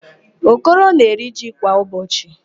Okoro na-eri ji kwa ụbọchị.